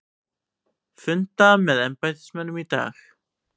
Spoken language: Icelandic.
Funda með embættismönnum í dag